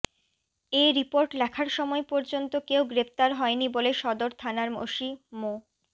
এ report লেখার সময় পর্যন্ত কেউ গ্রেপ্তার হয়নি বলে সদর থানার ওসি মো